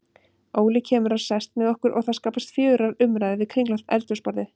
Óli kemur og sest með okkur og það skapast fjörugar umræður við kringlótt eldhúsborðið.